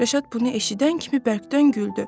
Rəşad bunu eşidən kimi bərkdən güldü.